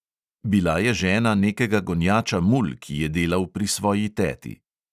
Bila je žena nekega gonjača mul, ki je delal pri svoji teti.